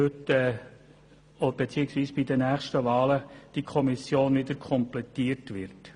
Die Kommission wird bei den nächsten Wahlen wieder komplettiert werden.